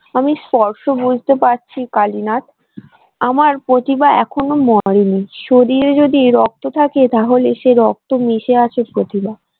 আমি স্পষ্ট বুঝতে পারছি কালীনাথ আমার প্রতিভা এখনো মরেনি শরীরে যদি রক্ত থাকে তাহলে সে রক্তে মিশে আছে প্রতিভা।